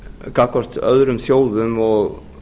gagnvart öðrum þjóðum og